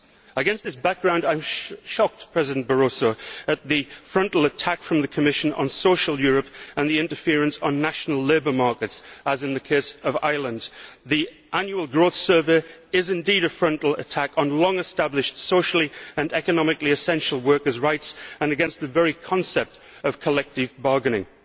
Against this background, I am shocked, President Barroso, at the frontal attack by the Commission on social Europe and the interference with national labour markets, as in the case of Ireland. The annual growth survey is indeed a frontal attack on long established, socially and economically essential workers' rights and on the very concept of collective bargaining.